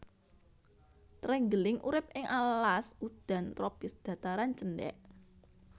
Trenggiling urip ing alas udan tropis dhataran cendhèk